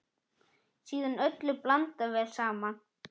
Síðan öllu blandað vel saman.